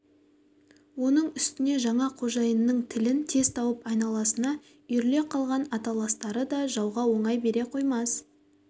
оның үстіне жаңа қожайынның тілін тез тауып айналасына үйіріле қалған аталастары да жауға оңай бере қоймас